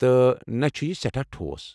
تہٕ نہٕ چُھ یہٕ سیٚٹھاہ ٹھوس۔